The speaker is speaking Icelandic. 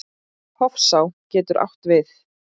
Hofsá getur átt við